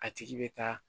A tigi bɛ taa